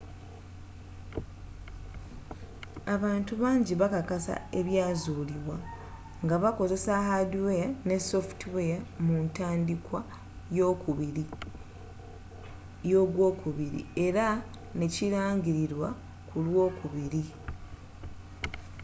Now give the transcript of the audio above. abantu bangi bakakasa ebyazuulibwa nga bakozesa haadiweya ne sofutiweya mu ntandikwa y'ogwokubiri era nekirangililwa kulw'okubiri